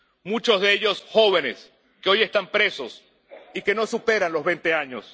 Muchos de ellos jóvenes, que hoy están presos y que no superan los veinte años.